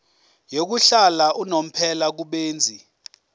yokuhlala unomphela kubenzi